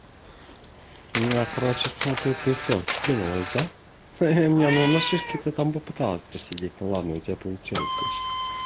ну я короче смотрю ты всё скинулась да ну на шишке ты там попыталась посидеть ну ладно у тебя получилось почти